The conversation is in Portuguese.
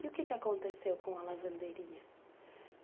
E o que aconteceu com a lavanderia?